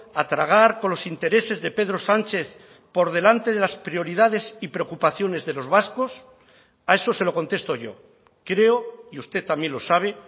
a tragar con los intereses de pedro sánchez por delante de las prioridades y preocupaciones de los vascos a eso se lo contesto yo creo y usted también lo sabe